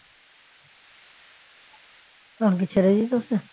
তখন কি ছেড়ে দিত সে